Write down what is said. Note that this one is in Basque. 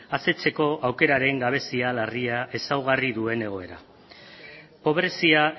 asetzeko aukeraren gabezia larria ezaugarri duen egoera pobrezia